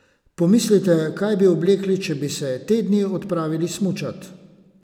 Pomislite, kaj bi oblekli, če bi se te dni odpravili smučat?